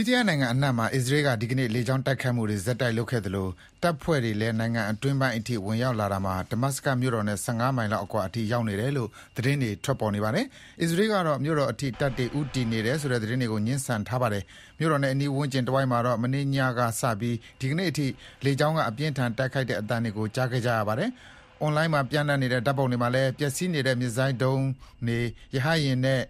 ီးရီးယားနိုင်ငံအနှံ့မှာ အစ္စရေးက ဒီကနေ့ လေကြောင်းတိုက်ခိုက်မှုတွေ ဆက်တိုက်လုပ်ခဲ့သလို တပ်ဖွဲ့တွေလည်း နိုင်ငံအတွင်းပိုင်းအထိ ဝင်ရောက်လာရာမှာ ဒမတ်စကတ်မြို့တော်နဲ့ ၁၅ မိုင်လောက် အကွာအထိ ရောက်နေတယ်လို့ သတင်းတွေ ထွက်နေပါတယ်။ အစ္စရေးကတော့ မြို့တော်အထိ တပ်တွေ ဦးတည်နေတယ်ဆိုတဲ့ သတင်းတွေကို ငြင်းဆန်ထားတာပါ။ မြို့တော်နဲ့ အနီးဝန်းကျင်တဝိုက်မှာတော့ မနေ့ညကစ ဒီကနေ့အထိ လေကြောင်းက အပြင်းအထန် တိုက်ခိုက်တဲ့ အသံတွေကို ကြားခဲ့ကြရပါတယ်။ အွန်လိုင်းမှာ ပျံ့နှံ့နေတဲ့ ဓာတ်ပုံတွေထဲမှာလည်း မစ်ဇိုင်းဒုံးပစ်စင်တွေ၊ ရဟတ်ယာဉ်နဲ့